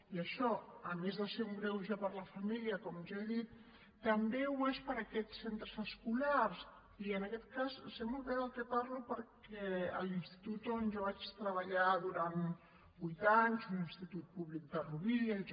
i això a més de ser un greuge per a la família com ja he dit també ho és per a aquests centres escolars i en aquest cas sé molt bé de què parlo perquè a l’institut on jo vaig treballar durant vuit anys un institut públic de rubí el j